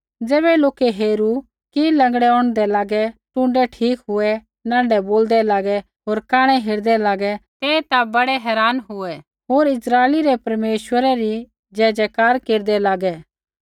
ज़ैबै लोकै हेरू कि लँगड़ै औंढदै लागै टुण्डै ठीक हुऐ नाँढै बोलदै लागै होर कांणै हेरदै लागै ता ते बड़ै हैरान हुऐ होर इस्राइली रै परमेश्वरै री जयजयकार केरदै लागै